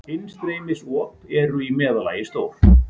Innstreymisop eru í meðallagi stór.